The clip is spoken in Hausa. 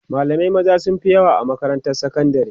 malamai maza sunfi yawa a makarantar sakandari